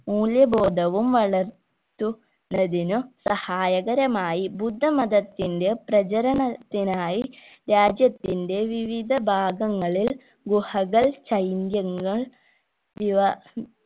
മൂല്യ ബോധവും വളർത്തു ന്നതിന് സഹായകരമായി ബുദ്ധമായതിന്റെ പ്രചരണത്തിനായി രാജ്യത്തിൻറെ വിവിധ ഭാഗങ്ങളിൽ ഗുഹകൾ വിവാ